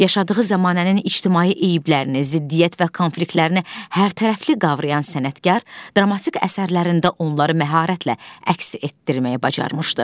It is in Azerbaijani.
Yaşadığı zəmanənin ictimai eyblərini, ziddiyyət və konfliktlərini hərtərəfli qavrayan sənətkar dramatik əsərlərində onları məharətlə əks etdirməyə başlamışdı.